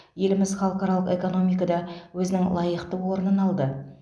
еліміз халықаралық экономикада өзінің лайықты орнын алды